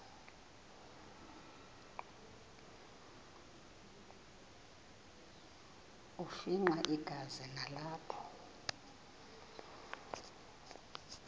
afimxa igazi nalapho